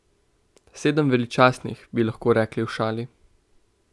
Sedem veličastnih, bi lahko rekli v šali.